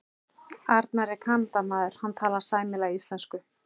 Annar er Kanadamaður, hann talar sæmilega íslensku.